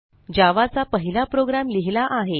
जावा चा पहिला प्रोग्रॅम लिहिला आहे